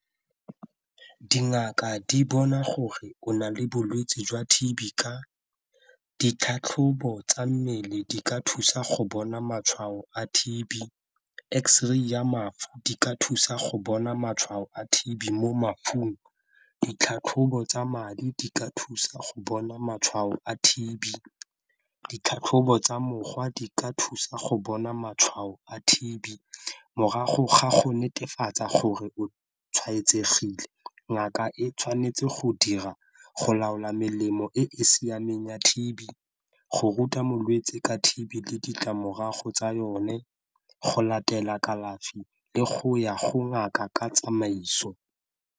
Dingaka di bona gore o na le bolwetse jwa T_B ka ditlhatlhobo tsa mmele di ka thusa go bona matshwao a T_B, x-ray ya mafu di ka thusa go bona matshwao a T_B mo mafung ditlhatlhobo tsa madi di ka thusa go bona matshwao a T_B, ditlhatlhobo tsa mogwa di ka thusa go bona matshwao a T_B morago ga go netefatsa gore o tshwaetsegile. Ngaka e tshwanetse go dira go laola melemo e e siameng ya T_B go ruta molwetse ka T_B le ditlamorago tsa yone go latela kalafi le go ya go ngaka ka tsamaiso.